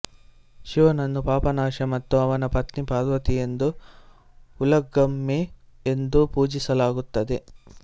ಶಿವನನ್ನು ಪಾಪನಾಶ ಮತ್ತು ಅವನ ಪತ್ನಿ ಪಾರ್ವತಿ ಎಂದು ಉಲಗಮ್ಮೈ ಎಂದು ಪೂಜಿಸಲಾಗುತ್ತದೆ